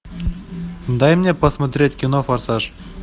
дай мне посмотреть кино форсаж